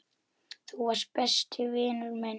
Þú varst besti vinur minn.